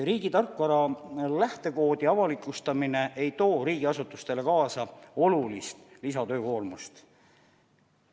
Riigi tarkvara lähtekoodi avalikustamine ei too riigiasutustele kaasa olulist lisatöökoormust.